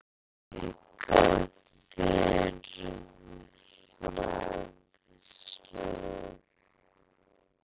Auka þurfi fræðslu.